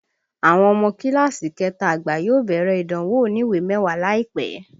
Àwọn ọmọ kíláàsì kẹta àgbà yóò bẹ̀rẹ̀ ìdánwò oniwe mẹ́wàá láìpẹ́